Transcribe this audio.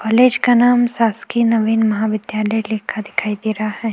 College का नाम शासकीय नवीन महाविद्यालय लिखा दिखाई दे रहा है।